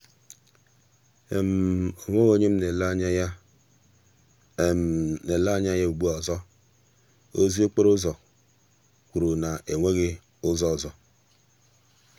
onweghị onye m na-ele anya ya na-ele anya ya ugbua ozi akụkọ okporo ụzọ kwuru na enweghị ụzọ ọzọ.